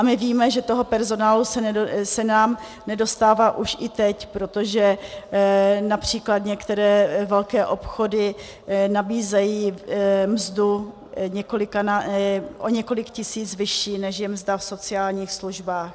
A my víme, že toho personálu se nám nedostává už i teď, protože například některé velké obchody nabízejí mzdu o několik tisíc vyšší, než je mzda v sociálních službách.